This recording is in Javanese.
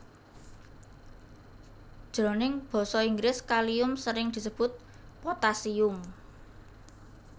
Jroning basa Inggris Kalium sering disebut Potassium